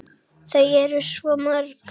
Þau eru svo mörg.